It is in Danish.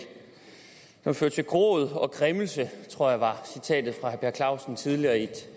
føre til gråd og græmmelse i tror jeg var citatet fra herre per clausen tidligere i et